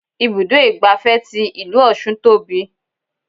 Ibùdó igbàfẹ́ tí ìlú ọ̀ṣun tóbi.